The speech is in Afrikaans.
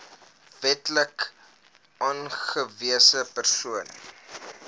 wetlik aangewese persoon